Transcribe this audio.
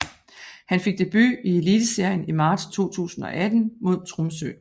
Han fik debut i Eliteserien i marts 2018 mod Tromsø